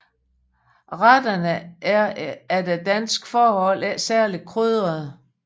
Retterne er efter danske forhold ikke særlig krydrede